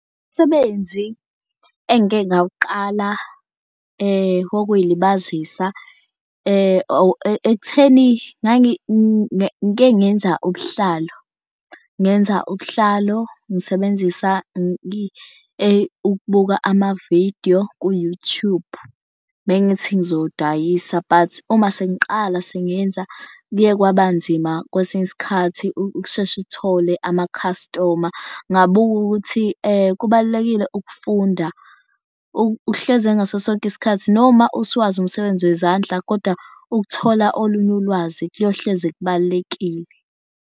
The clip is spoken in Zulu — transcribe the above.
Umsebenzi engike ngawuqala wokuzilibazisa ekutheni ngike ngingenza ubuhlalo ngenza ubuhlalo ngisebenzisa ukubuka amavidiyo ku-YouTube. Mengithi ngizowudayisa but uma sengiqala sengenza kuye kwabanzima kwesinye isikhathi ukusheshe uthole amakhastoma. Ngabuka ukuthi kubalulekile ukufunda uhlezi ngaso sonke isikhathi noma usuwazi umsebenzi wezandla kodwa ukuthola olunye ulwazi kuyohlezi kubalulekile.